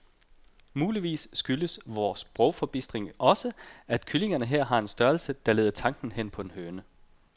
Muligvis skyldes vor sprogforbistring også, at kyllingerne her har en størrelse, der leder tanken hen på en høne.